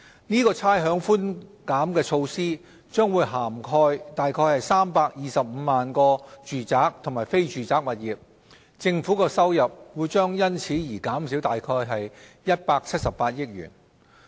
這差餉寬減措施將涵蓋約325萬個住宅和非住宅物業，政府收入將因而減少約178億元。